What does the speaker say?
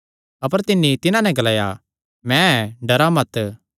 अपर तिन्नी तिन्हां नैं ग्लाया मैं ऐ डरा मत